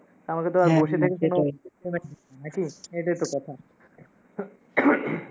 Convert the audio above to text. নাকি এটাই ত কথা